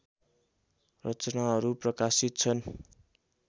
रचनाहरू प्रकाशित छन्